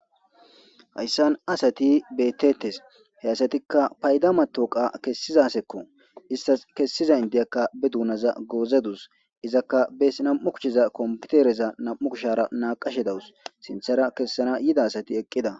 Hayssan asati bettettes. He asatikka payda matawuqa kessiza askko. Istas kessiza indiyakka be duunaza goozedus. Izakka bees nam7u kusheza kompitereza nam7u kushara naaqashe dawus sinthara kessana yida asati eqqida.